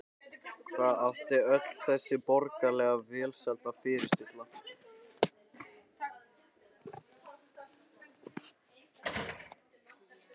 Hvað átti öll þessi borgaralega velsæld að fyrirstilla?